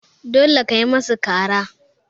dole kayi musu kara